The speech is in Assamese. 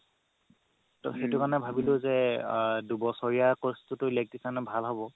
ত সেইটো কাৰণে ভাবিলো যে আ দুবছৰীয়া course তোতো electrician ৰ কাৰণে ভাল হ'ব